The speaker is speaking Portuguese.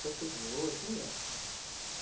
Depois teve outro, não me lembro.